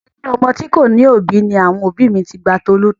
Ilé ọmọ tí kò ní òbí ni àwọn òbí mi ti gba Tolú tọ́.